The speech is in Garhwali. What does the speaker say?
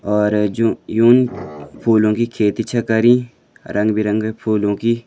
और जु यून फूलों की खेती छ करीं रंग बिरंगे फूलों की --